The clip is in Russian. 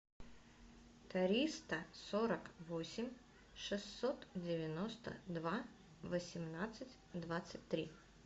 триста сорок восемь шестьсот девяносто два восемнадцать двадцать три